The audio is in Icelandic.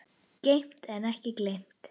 Geymt en ekki gleymt